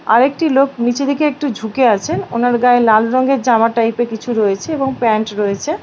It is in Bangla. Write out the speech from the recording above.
আরেকটি লোক নিচে দেখে একটু ঝুঁকে আছে ওনার গায়ে লাল রংয়ের জামা টাইপের কিছু রয়েছে এবং প্যান্ট রয়েছে।